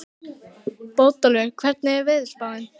Bótólfur, hvernig er veðurspáin?